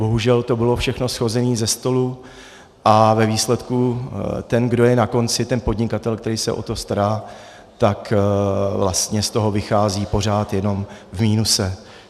Bohužel to bylo všechno shozené ze stolu a ve výsledku ten, kdo je na konci, ten podnikatel, který se o to stará, tak vlastně z toho vychází pořád jenom v minusu.